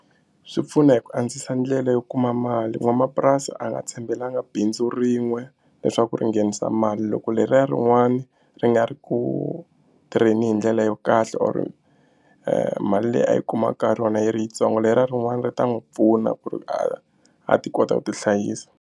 Swi pfuna hi ku antswisa ndlela yo kuma mali n'wamapurasi a nga tshembelanga bindzu rin'we leswaku ri nghenisa mali loko leriya rin'wana ri nga ri ku tirheni hi ndlela yo kahle or mali leyi a yi kumaka ka rona yi ri yitsongo leriya rin'wana ri ta n'wi pfuna ku ri a a ti kota ku tihlayisa.